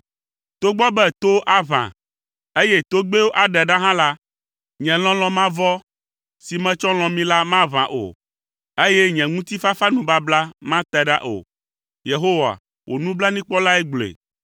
Togbɔ be towo aʋa, eye togbɛwo aɖe ɖa hã la, nye lɔlɔ̃ mavɔ si metsɔ lɔ̃ mi la maʋã o, eye nye ŋutifafanubabla mate ɖa o.” Yehowa, wò nublanuikpɔlae gblɔe.